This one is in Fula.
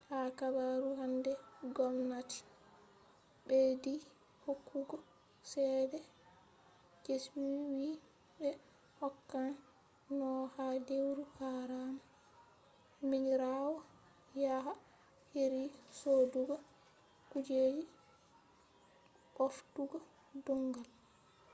ha habaru hande gomnati ɓeddi hokkugo cede je ɓe wi ɓe hokkan no ha lewru haram minirawo yaha heri sodugo kujeji ɓoftugo dongal